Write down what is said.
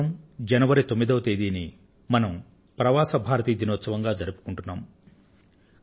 ప్రతి సంవత్సరం జనవరి తొమ్మిదో తేదీన మనం ప్రవాసి భారతీయ దినంగా మనం జరుపుకొంటున్నాం